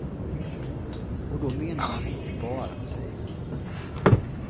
Och då menar han inte bara musik.